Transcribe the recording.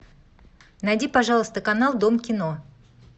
найди пожалуйста канал дом кино